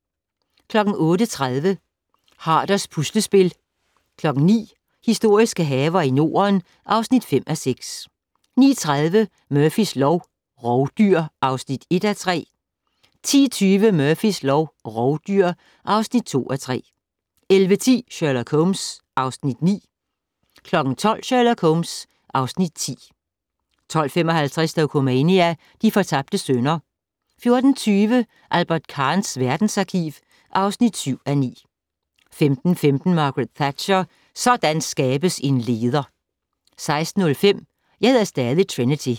08:30: Haarders puslespil 09:00: Historiske haver i Norden (5:6) 09:30: Murphys lov: Rovdyr (1:3) 10:20: Murphys lov: Rovdyr (2:3) 11:10: Sherlock Holmes (Afs. 9) 12:00: Sherlock Holmes (Afs. 10) 12:55: Dokumania: De fortabte sønner 14:20: Albert Kahns verdensarkiv (7:9) 15:15: Margaret Thatcher: Sådan skabes en leder! 16:05: Jeg hedder stadig Trinity